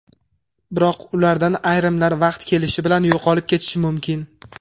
Biroq ulardan ayrimlar vaqt kelishi bilan yo‘qolib ketishi mumkin.